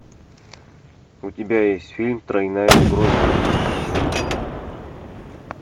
у тебя есть фильм тройная угроза